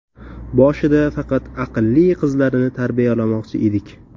Boshida faqat aqlli qizlarni tarbiyalamoqchi edik.